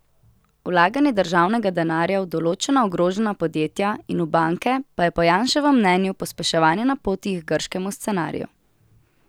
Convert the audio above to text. Vlaganje državnega denarja v določena ogrožena podjetja in v banke pa je po Janševem mnenju pospeševanje na poti k grškemu scenariju.